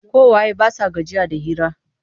Ƙawaye ba sa gajiya da hira.